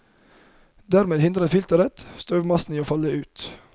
Dermed hindrer filteret støvmassen i å falle ut.